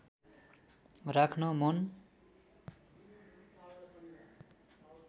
राख्न मन